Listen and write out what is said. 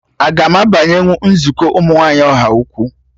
Aga m abanyenwu nzukọ ụmụ nwaanyị Ọhaukwu?